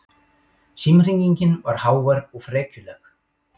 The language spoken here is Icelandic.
Símhringingin var hávær og frekjuleg.